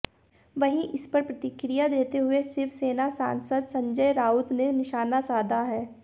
वहीं इस पर प्रतिक्रिया देते हुए शिवसेना सांसद संजय राउत ने निशाना साधा है